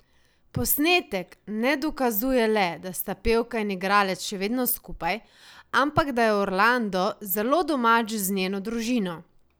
Posnetek ne dokazuje le, da sta pevka in igralec še vedno skupaj, ampak da je Orlando zelo domač z njeno družino.